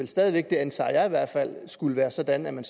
stadig væk det antager jeg i hvert fald ville skulle være sådan at man